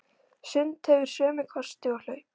Sund hefur sömu kosti og hlaup.